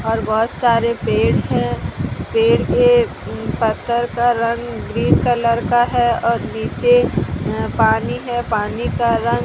और बहोत सारे पेड़ हैं पेड़ के पत्तर का रंग ग्रीन कलर का है और नीचे अं पानी है पानी का रंग --